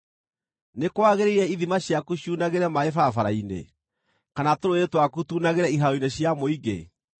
Nĩ kwagĩrĩire ithima ciaku ciunagĩre maaĩ barabara-inĩ, kana tũrũũĩ twaku tuunagĩre ihaaro-inĩ cia mũingĩ?